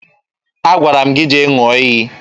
Agwara m gị jee ṅụọ iyi